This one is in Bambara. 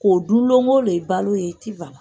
K'o dun don o don i balo ye